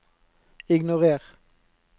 ignorer